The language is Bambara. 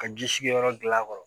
Ka ji sigiyɔrɔ gilan